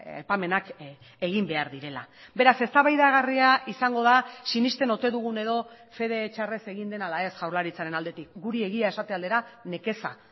aipamenak egin behar direla beraz eztabaidagarria izango da sinesten ote dugun edo fede txarrez egin den ala ez jaurlaritzaren aldetik guri egia esate aldera nekeza